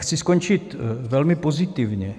Chci skončit velmi pozitivně.